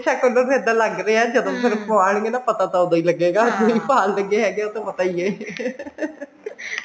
ਸ਼ਕਲ ਤੋਂ ਤਾਂ ਇੱਦਾਂ ਲੱਗ ਰਿਹਾ ਜਦੋਂ ਫੇਰ ਪ੍ਵਾਨ੍ਗੇ ਨਾ ਪਤਾ ਤਾਂ ਉਹਦੋਂ ਹੀ ਲਗੇਗਾ ਕਿ ਭਾਲਦੇ ਨੇ ਉਹ ਤਾਂ ਪਤਾ ਹੀ ਹੈ